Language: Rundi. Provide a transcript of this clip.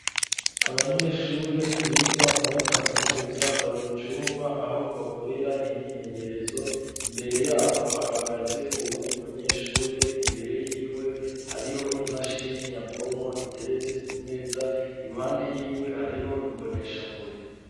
Abanyeshure biga muri kaminusa bari mucumba aho bakorera imyimenyerezo imbere yabo haagaze uwundi munyeshure imbere yiwe hariho imashini nyabwonko iteretse ku meza iruhande yiwe hariho imbonesha kure.